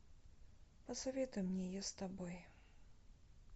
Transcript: посоветуй мне я с тобой